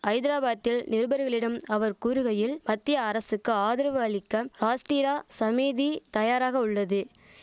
ஐதராபாத்தில் நிருபர்களிடம் அவர் கூறுகையில் மத்திய அரசுக்கு ஆதரவு அளிக்க ராஷ்டிரா சமீதி தயாராக உள்ளது